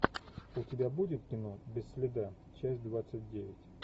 у тебя будет кино без следа часть двадцать девять